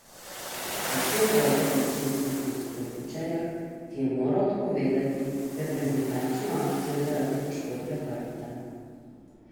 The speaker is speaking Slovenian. Predvsem bode v oči odsotnost Klobučarja, ki je moral odpovedati reprezentančno akcijo zaradi poškodbe hrbta.